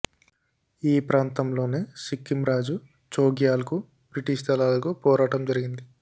ఈ ప్రాంతంలోనే సిక్కిం రాజు చోగ్యాల్ కు బ్రిటిష్ దళాలకు పోరాటం జరిగింది